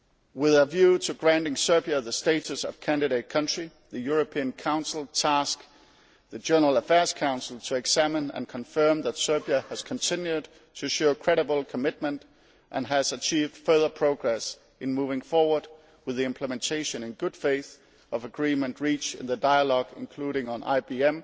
With a view to granting Serbia the status of candidate country, the European Council tasked the General Affairs Council to examine and confirm that Serbia has continued to show credible commitment and has achieved further progress in moving forward with the implementation, in good faith, of agreement reached in the dialogue, including on IBM,